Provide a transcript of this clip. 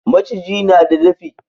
Maciji na da dafi.